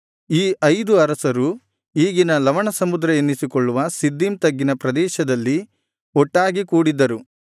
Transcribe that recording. ಈ ಐದು ಅರಸರು ಈಗಿನ ಲವಣಸಮುದ್ರ ಎನ್ನಿಸಿಕೊಳ್ಳುವ ಸಿದ್ದೀಮ್ ತಗ್ಗಿನ ಪ್ರದೇಶದಲ್ಲಿ ಒಟ್ಟಾಗಿ ಕೂಡಿದ್ದರು